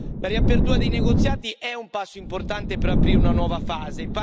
La riapertura dei negoziati è un passo importante per aprire una nuova fase.